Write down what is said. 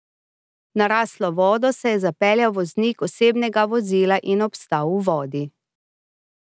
V naraslo vodo se je zapeljal voznik osebnega vozila in obstal v vodi.